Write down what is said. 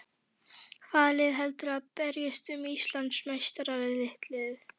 Hvaða lið heldurðu að berjist um Íslandsmeistaratitilinn?